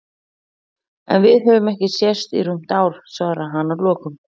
En við höfum ekki sést í rúmt ár, svaraði hann að lokum.